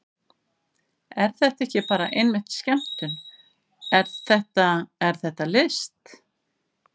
Er þetta ekki bara einmitt skemmtun, er þetta, er þetta list?